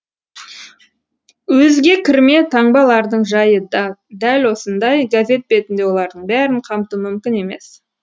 өзге кірме таңбалардың жайы да дәл осындай газет бетінде олардың бәрін қамту мүмкін емес